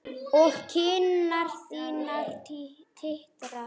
Og kinnar þínar titra.